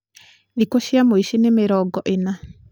thikũ cia mũici nĩ mĩrongo ĩna.